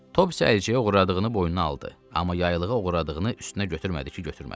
Topsy əlcəyi oğurladığını boynuna aldı, amma yaylığı oğurladığını üstünə götürmədi ki, götürmədi.